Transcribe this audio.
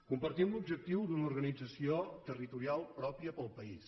compartim l’objectiu d’una organització territorial pròpia per al país